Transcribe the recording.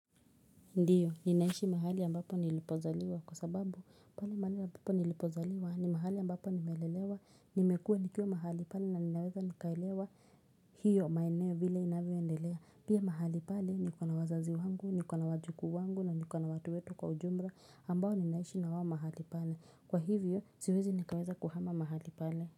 Ndio ninaishi mahali ambapo nilipozaliwa kwa sababu pale mahali ambapo nilipozaliwa ni mahali ambapo nimelelewa nimekua nikiwa mahali pale na ninaweza nikaelewa hiyo maeneo vile inavyoendelea pia mahali pale niko na wazazi wangu niko na wajukuu wangu na niko na watu wote kwa ujumla ambao ninaishi na wao mahali pale kwa hivyo ziwezi nikaweza kuhama mahali pale.